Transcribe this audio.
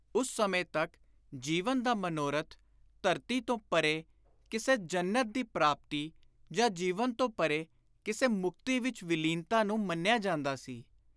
ਉਸ ਸਮੇਂ ਤਕ ਜੀਵਨ ਦਾ ਮਨੋਰਥ ਧਰਤੀ ਤੋਂ ਪਰੇ ਕਿਸੇ ਜ਼ੰਨਤ ਦੀ ਪ੍ਰਾਪਤੀ ਜਾਂ ਜੀਵਨ ਤੋਂ ਪਰੇ ਕਿਸ਼ੇ ਮੁਕਤੀ ਵਿਚ ਵਿਲੀਨਤਾ ਨੂੰ ਮੰਨਿਆ ਜਾਂਦਾ ਸੀ।